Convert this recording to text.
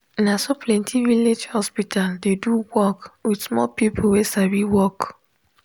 naso plenti village hospital dey do work with small people wey sabi work.